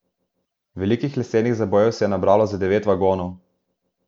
Velikih lesenih zabojev se je nabralo za devet vagonov.